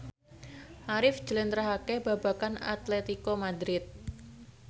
Arif njlentrehake babagan Atletico Madrid